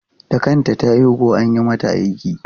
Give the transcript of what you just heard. Da kanta ta haihu ko an yi mata aiki?